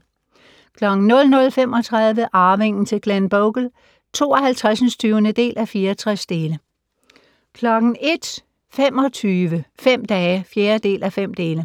00:35: Arvingen til Glenbogle (52:64) 01:25: Fem dage (4:5)